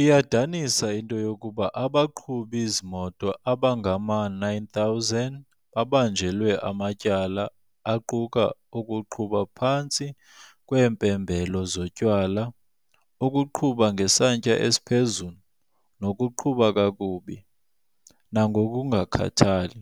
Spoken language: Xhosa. Iyadanisa into yokuba abaqhubi zimoto abangama-9,000 babanjelwe amatyala aquka ukuqhuba phantsi kweempembelelo zotywala, ukuqhuba ngesantya esiphezulu, nokuqhuba kakubi nangokungakhathali.